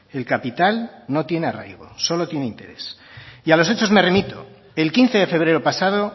el capital no tiene arraigo solo tiene interés y a los hechos me remito el quince de febrero pasado